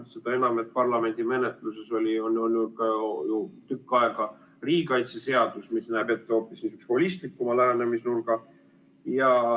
Seda enam, et parlamendi menetluses on olnud ju tükk aega riigikaitseseadus, mis näeb ette hoopis holistlikuma lähenemisnurga.